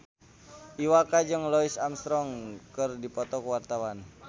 Iwa K jeung Louis Armstrong keur dipoto ku wartawan